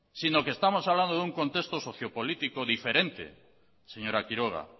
sino que estamos hablando de un contexto sociopolítico diferente señora quiroga